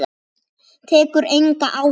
Tekur enga áhættu.